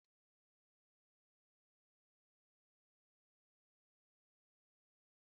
Ezinụlọ Ibrahim na ahọrọ mmanụ oriri karịa mmanụ nri